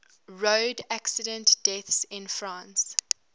road accident deaths in france